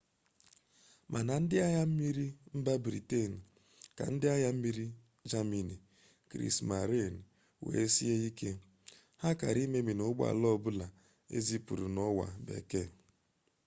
ma na ndi agha mmiri mmiri mba britain ka ndi agha mmmiri ndi germany kriesmarine were sie ike. ha kara imemina ugbo ala obula ezipuru n’owa bekee